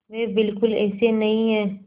वे बिल्कुल ऐसे नहीं हैं